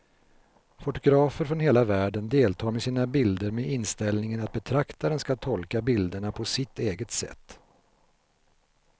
Fotografer från hela världen deltar med sina bilder med inställningen att betraktaren ska tolka bilderna på sitt eget sätt.